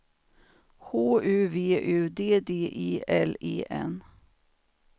H U V U D D E L E N